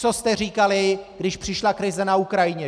Co jste říkali, když přišla krize na Ukrajině?